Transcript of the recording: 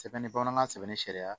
Sɛbɛnni bamanankan sɛbɛnni sariya